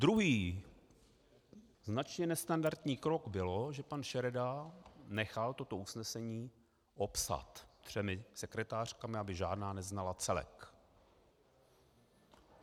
Druhý značně nestandardní krok byl, že pan Šereda nechal toto usnesení opsat třemi sekretářkami, aby žádná neznala celek.